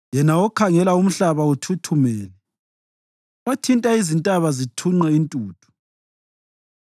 yena okhangela umhlaba uthuthumele, othinta izintaba zithunqe intuthu.